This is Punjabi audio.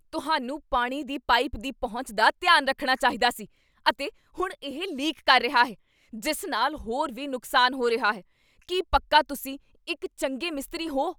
ਤੁਹਾਨੂੰ ਪਾਣੀ ਦੀ ਪਾਈਪ ਦੀ ਪਹੁੰਚ ਦਾ ਧਿਆਨ ਰੱਖਣਾ ਚਾਹੀਦਾ ਸੀ, ਅਤੇ ਹੁਣ ਇਹ ਲੀਕ ਕਰ ਰਿਹਾ ਹੈ ਜਿਸ ਨਾਲ ਹੋਰ ਵੀ ਨੁਕਸਾਨ ਹੋ ਰਿਹਾ ਹੈ! ਕੀ ਪੱਕਾ ਤੁਸੀਂ ਇੱਕ ਚੰਗੇ ਮਿਸਤਰੀ ਹੋ?